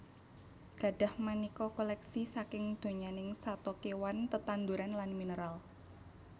Gadhah manéka kolèksi saking donyaning sato kéwan tetanduran lan mineral